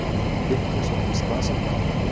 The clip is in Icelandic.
Þyrla sótti slasað barn